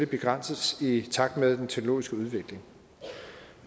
begrænses i takt med den teknologiske udvikling